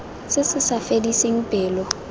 se se sa fediseng pelo